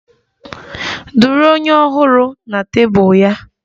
Duru onye Ọhụrụ na tebụl ya!